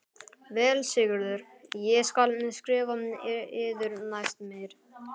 Vel Sigurður ég skal skrifa yður næst meir.